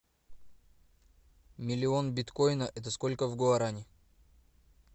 миллион биткоина это сколько в гуарани